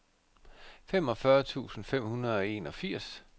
femogfyrre tusind fem hundrede og enogfirs